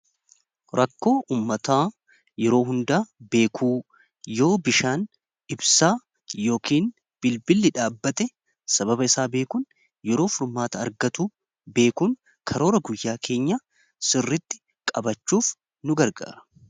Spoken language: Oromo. rakkoo ummataa yeroo hundaa beekuu yoo bishaan ibsaa yookiin bilbilli dhaabate sababa isaa beekuun yeroo furmaata argatu beekuun karoora guyyaa keenya sirritti qabachuuf nu gargaara.